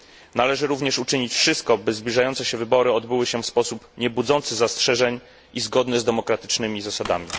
Należy również uczynić wszystko, aby zbliżające się wybory odbyły się w sposób niebudzący zastrzeżeń i zgodny z demokratycznymi zasadami.